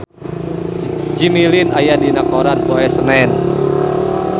Jimmy Lin aya dina koran poe Senen